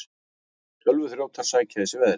Tölvuþrjótar sækja í sig veðrið